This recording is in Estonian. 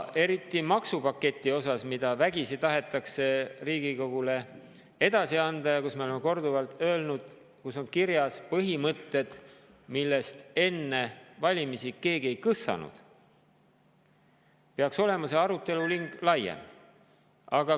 Eriti maksupaketi puhul, mida vägisi tahetakse Riigikogule edasi anda ja mille kohta me oleme korduvalt öelnud, et seal on kirjas põhimõtted, millest enne valimisi keegi ei kõssanud, peaks see aruteluring olema laiem.